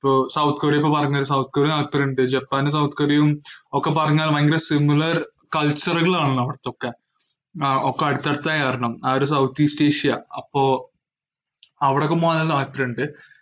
ഇപ്പോ സൗത്ത് കൊറിയന്നൊക്കെ പറഞ്ഞാ സൗത്ത് കൊറിയ താല്പര്യണ്ട്. ജപ്പാനും സൗത്ത് കൊറിയയും ഒക്കെ പറഞ്ഞാൽ ഭയങ്കര similar culture കളാണല്ലോ അവർക്കൊക്കെ ആഹ് ഒക്കെ അടുത്തടുത്തായ കാരണം ആയൊരു സൗത്ത് ഈസ്റ്റ്ഏഷ്യ അപ്പോ അവിടൊക്കെ പോവാനും പോവാൻ താല്പര്യണ്ട്.